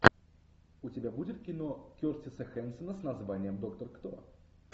у тебя будет кино кертиса хэнсона с названием доктор кто